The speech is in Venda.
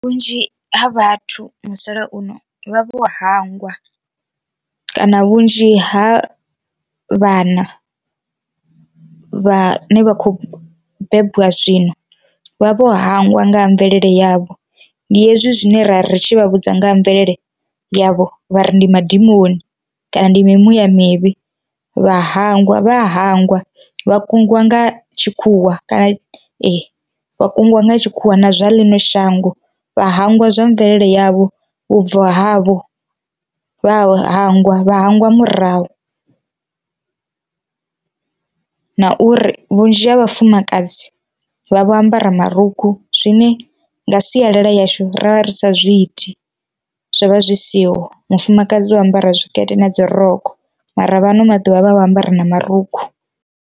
Vhunzhi ha vhathu musalauno vha vho hangwa kana vhunzhi ha vhana vhane vha khou bebiwa zwino vha vho hangwa nga ha mvelele yavho, ndi hezwi zwine ra ri tshi vha vhudza nga ha mvelele yavho vha ri ndi madimoni kana ndi mimuya mivhi vha hangwa vha ya hangwa vha kungiwa nga tshikhuwa kana e vha kungiwa nga tshikhuwa na zwa ḽino shango vha hangwa zwa mvelele yavho, vhubvo havho vha hangwa vha hangwa murahu na uri vhunzhi ha vhafumakadzi vha vho ambara marukhu zwine nga sialala yashu ra vha ri sa zwi iti zwo vha zwi siho mufumakadzi o ambara tshikete na dzi rokho mara vha ano maḓuvha vha vho ambara na marukhu.